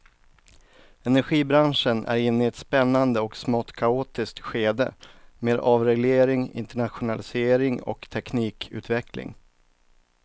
Energibranschen är inne i ett spännande och smått kaotiskt skede med avreglering, internationalisering och teknikutveckling.